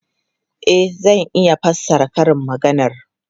E, zan iya fassara karin maganar.